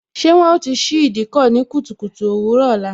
Ṣé wọn ó ti ṣí Ìdíkọ̀ ní kùtùkùtù òwúrò ọ̀la?